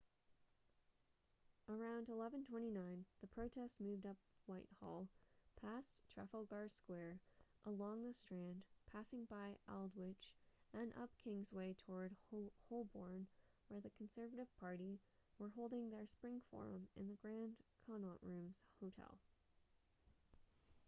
around 11:29 the protest moved up whitehall past trafalgar square along the strand passing by aldwych and up kingsway towards holborn where the conservative party were holding their spring forum in the grand connaught rooms hotel